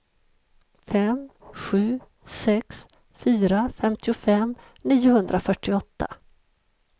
fem sju sex fyra femtiofem niohundrafyrtioåtta